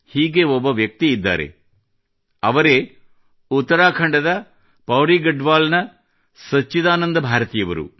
ಹೀಗೆ ಒಬ್ಬ ವ್ಯಕ್ತಿಯಿದ್ದಾರೆ ಅವರೇ ಉತ್ತರಾಖಂಡದ ಪೌಡಿ ಗಡ್ವಾಲದ ಸಚ್ಚಿದಾನಂದ ಭಾರತಿಯವರು